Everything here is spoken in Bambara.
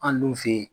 An dun fe yen